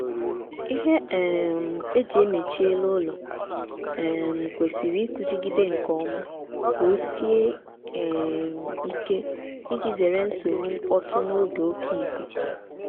ihe um e ji mechie elu ụlọ um kwesịrị ịkụchigide nkeọma ka ọ sie um ike ịji zere nsogbu mkpọtụ n'oge oké ikuku